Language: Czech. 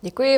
Děkuji.